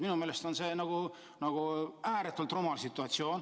Minu meelest on see ääretult rumal situatsioon.